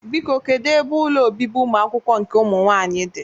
Biko, kedu ebe ụlọ obibi ụmụakwụkwọ nke ụmụnwaanyị dị?